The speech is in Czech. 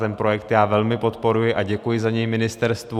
Ten projekt já velmi podporuji a děkuji za něj ministerstvu.